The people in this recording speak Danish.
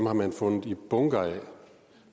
har man fundet i bunker af